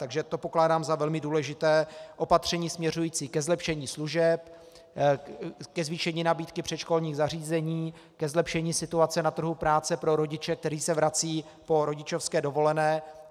Takže to pokládám za velmi důležité opatření směřující ke zlepšení služeb, ke zvýšení nabídky předškolních zařízení, ke zlepšení situace na trhu práce pro rodiče, kteří se vracejí po rodičovské dovolené.